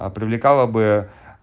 а привлекало бы